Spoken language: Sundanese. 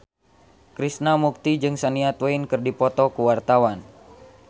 Krishna Mukti jeung Shania Twain keur dipoto ku wartawan